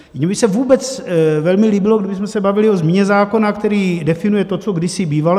Mně by se vůbec velmi líbilo, kdybychom se bavili o změně zákona, který definuje to, co kdysi bývalo.